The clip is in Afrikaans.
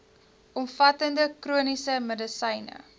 omvattende chroniese medisyne